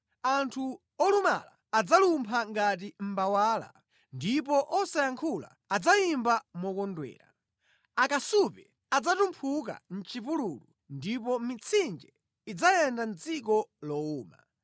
Anthu olumala adzalumpha ngati mbawala, ndipo osayankhula adzayimba mokondwera. Akasupe adzatumphuka mʼchipululu ndipo mitsinje idzayenda mʼdziko lowuma,